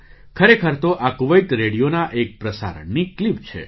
ખરેખર તો આ કુવૈત રેડિયોના એક પ્રસારણની ક્લિપ છે